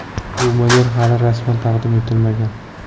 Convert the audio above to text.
Bu model hali rasman taqdim etilmagan.